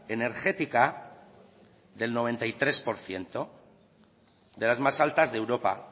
energética del noventa y tres por ciento de las más altas de europa